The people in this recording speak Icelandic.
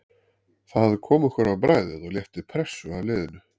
Það kom okkur á bragðið og létti pressu af liðinu.